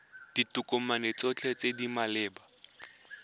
ditokomane tsotlhe tse di maleba